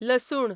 लसूण